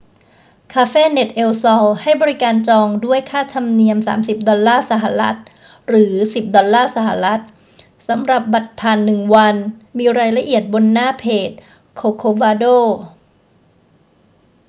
cafenet el sol ให้บริการการจองด้วยค่าธรรมเนียม 30 ดอลลาร์สหรัฐ หรือ 10 ดอลลาร์สหรัฐ สำหรับบัตรผ่านหนึ่งวัน มีรายละเอียดบนหน้าเพจ corcovado